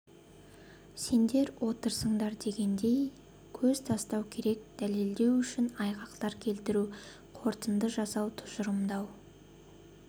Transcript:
сендер отырсыңдар дегендей көз тастау керек дәлелдеу үшін айғақтар келтіру қорытынды жасау тұжырымдау